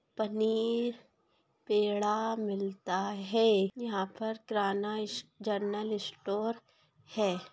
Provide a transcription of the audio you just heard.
पनीर पेड़ा मिलता है। यहाँ पर किराना इस जनरल स्टोर है।